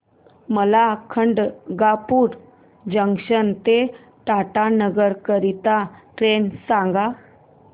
मला खडगपुर जंक्शन ते टाटानगर करीता ट्रेन सांगा